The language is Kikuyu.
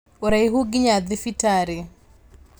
Ũraihu nginya thibitarĩ